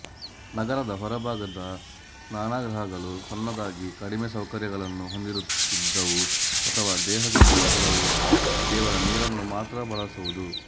ನಗರದ ಹೊರಭಾಗದ ಸ್ನಾನಗೃಹಗಳು ಸಣ್ಣದಾಗಿ ಕಡಿಮೆ ಸೌಕರ್ಯಗಳನ್ನು ಹೊಂದಿರುತ್ತಿದ್ದವು ಅಥವಾ ದೇಹ ಶುದ್ಧಿಗೆ ಕೇವಲ ನೀರನ್ನು ಮಾತ್ರ ಬಳಸುವುದು